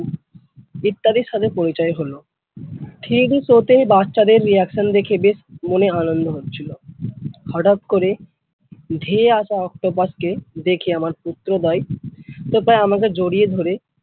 ইত্যাদির সাথে পরিচয় হলো। three D show তেই বাচ্চাদের reaction দেখে বেশ মনে আনন্দ হচ্ছিল। হঠাৎ করে ধেয়ে আসা octopas কে দেখে আমার পুত্রদ্বয় তো প্রায় আমাকে জড়িয়ে ধরে ।